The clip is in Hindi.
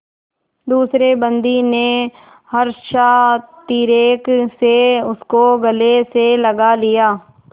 दूसरे बंदी ने हर्षातिरेक से उसको गले से लगा लिया